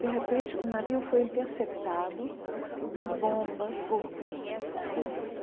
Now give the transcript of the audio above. De repente, o navio foi interceptado por bombas, por por bombas?